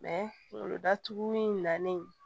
kungolo datugu in nalen